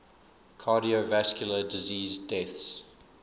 cardiovascular disease deaths